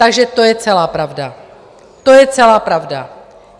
Takže to je celá pravda, to je celá pravda.